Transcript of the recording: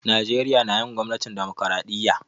Najeriya na yin gwamnatin dimokiradiyya.